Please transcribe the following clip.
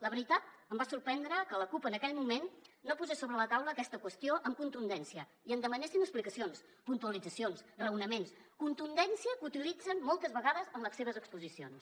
la veritat em va sorprendre que la cup en aquell moment no posés sobre la taula aquesta qüestió amb contundència ni en demanessin explicacions puntualitzacions raonaments contundència que utilitzen moltes vegades en les seves exposicions